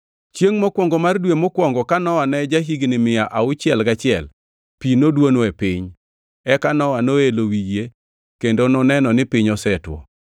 Chiengʼ mokwongo mar dwe mokwongo ka Nowa ne ja-higni mia auchiel gachiel, pi noduono e piny. Eka Nowa noelo wi yie kendo noneno ni piny osetwo.